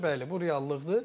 Bəli, bu reallıqdır.